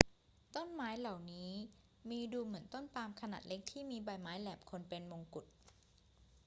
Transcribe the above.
ต้นไม้เหล่านี้มีดูเหมือนต้นปาล์มขนาดเล็กที่มีใบไม้แหลมคมเป็นมงกุฎ